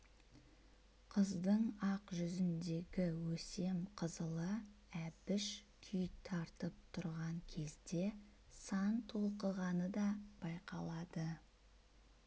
қыздың ақ жүзіндегі өсем қызылы әбіш күй тартып тұрған кезде сан толқығаны да байқалады